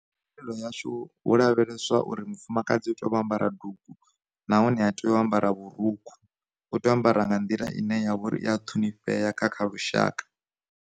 Mvelelo yashu, hu lavheleswa uri mufumakadzi u tea u ambara dugu, nahone ha tei u ambara vhurukhu, u tea u ambara nga nḓila ine ya vha uri i a ṱhonifhea nga kha lushaka.